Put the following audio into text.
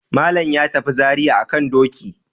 Malam ya tafi Zariya a kan doki.